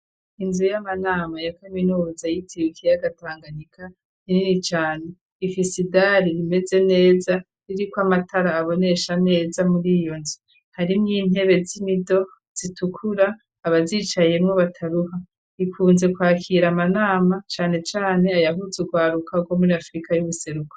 Inzu y'amanama ya Kaminuza yitiriwe ikiyaga tanganyika nini cane ifise idari rimeze neza ririko amatara abonesha neza muriyo nzu harimwo intebe z'imido zitukura abazicayemwo bataruha, ikunze kwakira amanama cane cane ayahuza urwaruka rwo muri afrika y'ubuseruko.